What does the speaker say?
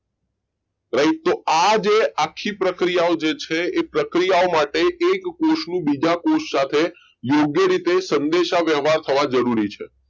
કે આ જ આખી પ્રક્રિયાઓ જે છે એ પ્રક્રિયાઓ માટે એક કોષનું બીજા કોષ સાથે યોગ્ય રીતે સંદેશા વ્યવહાર થવા જરૂરી છે